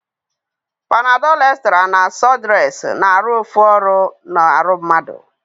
Command Statements